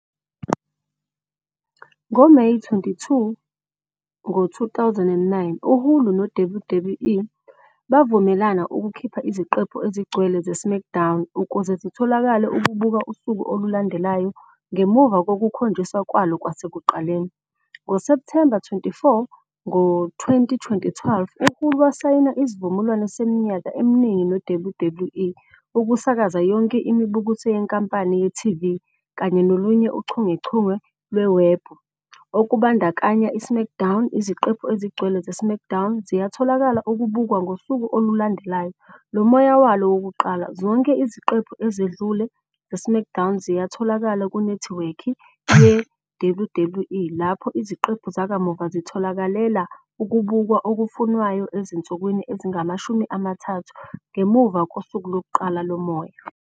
NgoMeyi 22, 2009, uHulu noWWE bavumelana ukukhipha iziqephu ezigcwele "zeSmackDown" ukuze zitholakalele ukubuka usuku olulandelayo ngemuva kokukhonjiswa kwalo kwasekuqaleni. NgoSepthemba 24, 2012, uHulu wasayina isivumelwano seminyaka eminingi neWWE ukusakaza yonke imibukiso yenkampani yeTV kanye nolunye uchungechunge lwewebhu, olubandakanya "iSmackDown. I"ziqephu ezigcwele "zeSmackDown" ziyatholakala ukubukwa ngosuku olulandelayo lomoya walo wokuqala. Zonke iziqephu ezedlule "zeSmackDown" ziyatholakala kunethiwekhi yeWWE, lapho iziqephu zakamuva zitholakalela ukubukwa okufunwayo ezinsukwini ezingama-30 ngemuva kosuku lokuqala lomoya.